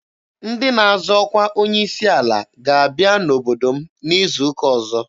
Ndị na-azọ ọkwa onye isi ala ga-abịa n'obodo m izu ụka ọzọ.